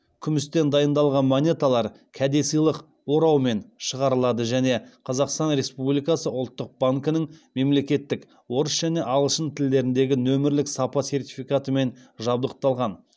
күмістен дайындалған монеталар кәдесыйлық ораумен шығарылады және қазақстан республикасы ұлттық банкінің мемлекеттік орыс және ағылшын тілдеріндегі нөмірлік сапа сертификатымен жабдықталған